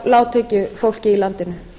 hjá lágtekjufólki í landinu